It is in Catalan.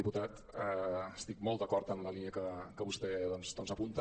diputat estic molt d’acord en la línia que vostè doncs apunta